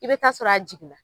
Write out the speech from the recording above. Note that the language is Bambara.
I bɛ taa sɔrɔ a jigin na.